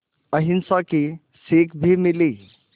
अहिंसा की सीख भी मिली